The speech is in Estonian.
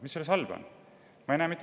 Mis selles halba on?